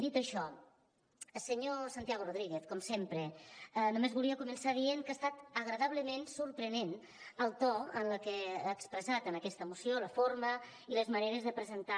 dit això senyor santiago rodríguez com sempre només volia començar dient que ha estat agradablement sorprenent el to amb el que ha expressat en aquesta moció la forma i les maneres de presentar